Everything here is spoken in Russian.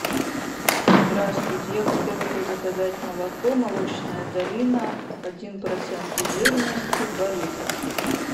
здравствуйте я хотела бы заказать молоко молочная долина один процент жирности два литра